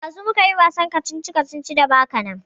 Ɗazu mu kayi wasan kacici-kacici da baka nan.